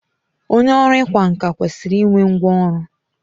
Onye ọrụ ịkwa nkà kwesịrị i nwe ngwa ọrụ.